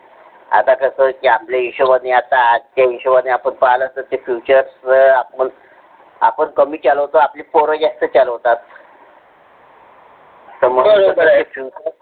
आता कसं आपल्या हिशोबाने आथा हिशोबाने आपुन पहिलया होते ते Featuress आपुन कमी चालवतो आपली पोर जास्ती चालवतात.